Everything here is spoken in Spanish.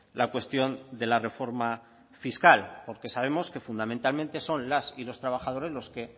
la cuestión de la reforma fiscal porque sabemos que fundamentalmente son las y los trabajadores los que